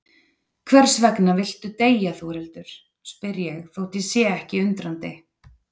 Hversvegna viltu deyja Þórhildur, spyr ég þótt ég sé ekki undrandi.